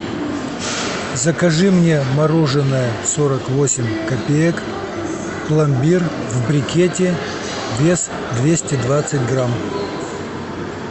закажи мне мороженое сорок восемь копеек пломбир в брикете вес двести двадцать грамм